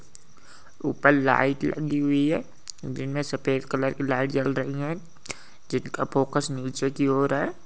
ऊपर लाइट लगी हुई है। दिनमे सफ़ेद कलर की लाइट जल रहीं है जिनका फोकस नीचे की ओर है।